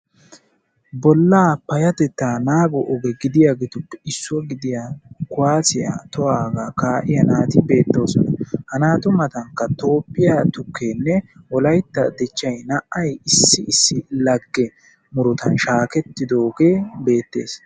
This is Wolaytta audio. Bolla payatetta naago oge gidiyagetuppe issoy gidiya kuwasiya tohuwaga ka'iya naati beetosona. Ha naatu matanka toophiya tukkene wolaytta dichchay naa'ay issi issi lagge murutan shakettidoge beetes.